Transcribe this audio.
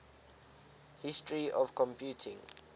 history of computing